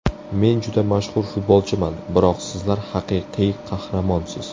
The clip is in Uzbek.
Men juda mashhur futbolchiman, biroq sizlar haqiqiy qahramonsiz!